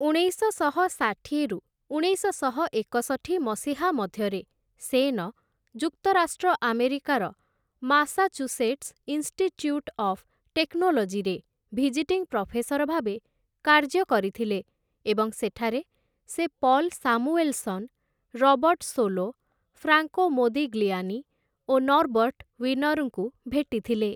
ଉଣେଇଶଶହ ଷାଠିଏରୁ ଉଣେଇଶଶହ ଏକଷଠି ମସିହା ମଧ୍ୟରେ ସେନ, ଯୁକ୍ତରାଷ୍ଟ୍ର ଆମେରିକାର ମାସାଚୁସେଟ୍ସ ଇନଷ୍ଟିଚ୍ୟୁଟ ଅଫ୍ ଟେକ୍ନୋଲୋଜିରେ ଭିଜିଟିଂ ପ୍ରଫେସର ଭାବେ କାର୍ଯ୍ୟ କରିଥିଲେ ଏବଂ ସେଠାରେ ସେ Paul Samuelson, Robert Solow, Franco Modigliani ଓ ନର୍ବର୍ଟ ୱିନରଙ୍କୁ ଭେଟିଥିଲେ ।